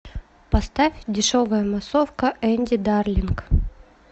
поставь дешевая массовка энди дарлинг